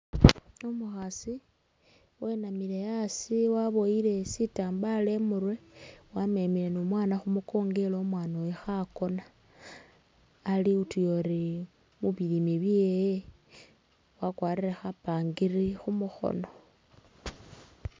Umukhaasi wenamile a'asi waboyile sitambala i'murwe, wamemile ni umwaana khu mukongo ela omwana oyu khakoona, ali utuyori ubiyime byewe, wakwarile khapangiri khu mukhoono.